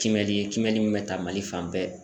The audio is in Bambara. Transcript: Kimɛli ye kimɛni mun bɛ ta mali fan bɛɛ.